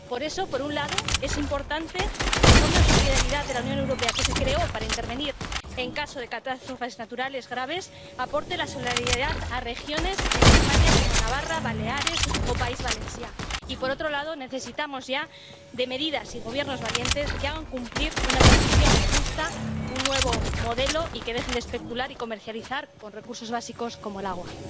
Por eso, por un lado, es importante que el Fondo de Solidaridad de la Unión Europea —que se creó para intervenir en caso de catástrofes naturales graves— aporte solidaridad a regiones en España como Navarra, Baleares o País Valencià, y, por otro lado, necesitamos ya de medidas y gobiernos valientes que hagan cumplir una transición justa, un nuevo modelo, y que dejen de especular y comercializar con recursos básicos como el agua.